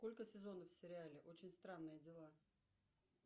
сколько сезонов в сериале очень странные дела